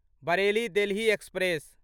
Bareilly Delhi express